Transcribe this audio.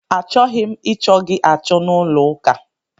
A chọghị m ị chọ gị achọ n'ụlọ ụka!